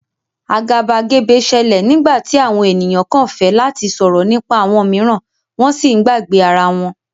Agabagebe ṣẹlẹ nigbati awọn eniyan kan fẹ lati sọrọ nipa awọn miiran wọn si ǹ gbagbe ara wọn.